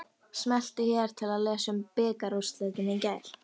Smelltu hér til að lesa um bikarúrslitin í gær.